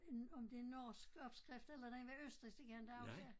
En om det en norsk opskrift eller den var østrigsk det kan jeg inte huske